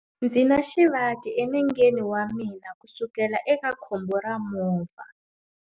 Ndzi na xivati enengeni wa mina kusukela eka khombo ra movha.